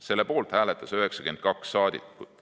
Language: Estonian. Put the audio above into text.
Selle poolt hääletas 92 saadikut.